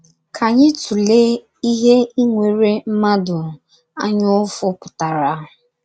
Ká anyị tụléé ihe inwere mmadụ anyaụfụ pụtara.